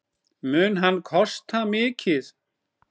Mun hann kosta mikið?